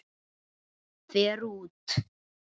Fer út.